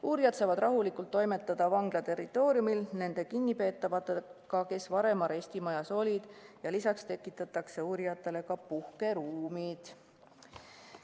Uurijad saavad rahulikult toimetada vangla territooriumil nende kinnipeetavatega, kes varem arestimajas olid, ja lisaks tekitatakse uurijatele ka puhkeruumid.